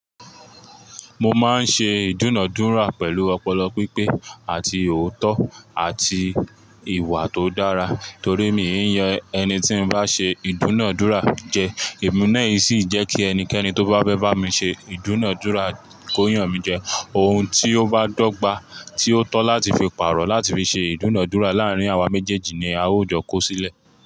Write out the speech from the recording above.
Mo máa ń ṣe ìdúnàádúrà pẹ̀lú ọpọlọ pípé àti òótọ́ àti ìwà tó dára torí mi ò yan ẹni tí ń bá ṣe ìdúnàádúrà jẹ. Ìmúná yìí sì jẹ́ kí ẹnikẹ́ni tó bá fẹ́ bá mi ṣe ìdúnàádúrà kó yàn mí jẹ. Oun tí ó bá dọ́gba tí ó tọ́ láti fi pàrọ̀ láti fi ṣe ìdúnàádúrà láàárín àwa méjèèjì ni a óò jọ kó sílẹ̀.